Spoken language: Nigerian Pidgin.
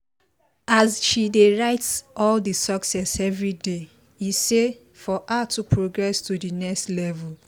as she dey write all the success everyday e say for her to progress to the next level